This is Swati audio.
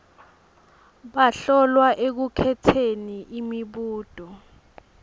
bahlolwa ekukhetseni imibuto